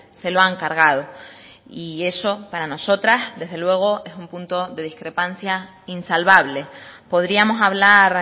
se lo han cargado y eso para nosotras desde luego es un punto de discrepancia insalvable podríamos hablar